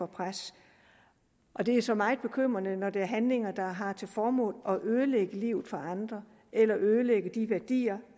pres det er så meget bekymrende når det er handlinger der har til formål at ødelægge livet for andre eller ødelægge de værdier